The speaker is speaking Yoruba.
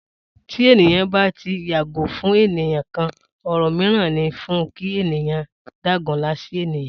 Tí ènìyàn bá tí ń yàgò fún ènìyàn kan, òrò míràn ní fún kí ènìyàn dágunlá sí ènìyàn